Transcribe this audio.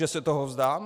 Že se toho vzdám?